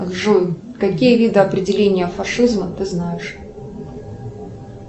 джой какие виды определения фашизма ты знаешь